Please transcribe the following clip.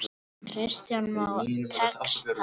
Kristján Már: Tekst það?